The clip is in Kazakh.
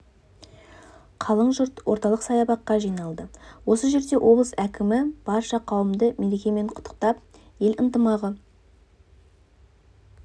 қалың жұрт орталық саябаққа жиналды осы жерде облыс әкімі барша қауымды мерекемен құттықтап ел ынтымағы